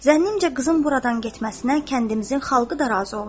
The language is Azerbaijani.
Zənnimcə, qızın buradan getməsinə kəndimizin xalqı da razı olmaz.